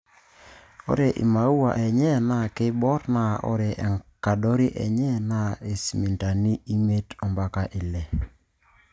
Ore imaua enye naa keiboorr naa ore enkadori enye naa isentimitani imiet mpaka Ile.